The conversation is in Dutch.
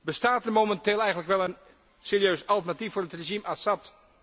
Bestaat er momenteel eigenlijk wel een serieus alternatief voor het regime Assad?